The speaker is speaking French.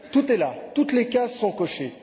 Tout est là, toutes les cases sont cochées.